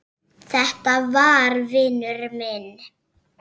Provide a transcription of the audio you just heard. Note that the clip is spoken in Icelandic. Þetta var vinur minn.